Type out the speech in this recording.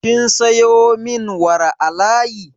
Kin sayo min wara a layi?